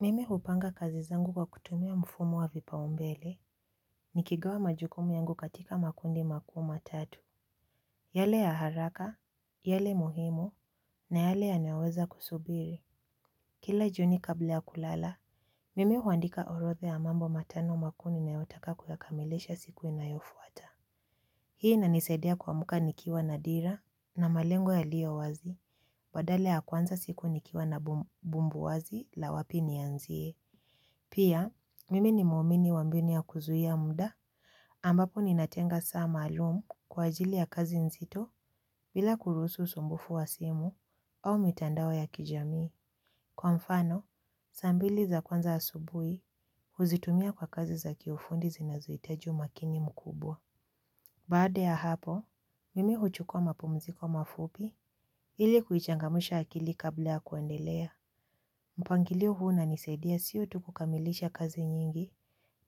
Mimi hupanga kazi zangu kwa kutumia mfumo wa vipaumbele, nikigawa majukumu yangu katika makundi makuu matatu. Yale ya haraka, yale muhimu, na yale yanaweza kusubiri. Kila jioni kabla ya kulala, mimi huandika orodha ya mambo matano makuu ninayotaka kuyakamilisha siku inayofuata. Hii inanisaidia kuamka nikiwa nadira, na malengo yalio wazi, badala ya kuanza siku nikiwa na bumbu wazi la wapi nianzie. Pia, mimi ni mwamini wa mbinu ya kuzuia muda ambapo ninatenga saa maalum kwa ajili ya kazi nzito bila kuruhusu usumbufu wa simu au mitandao ya kijamii. Kwa mfano, saa mbili za kwanza asubuhi huzitumia kwa kazi za kiufundi zinazohitaji umakini mkubwa. Baada ya hapo, mimi huchukua mapumziko mafupi ili kuchangamsha akili kabla ya kuendelea. Mpangilio huu na unanisaidia sio tu kukamilisha kazi nyingi,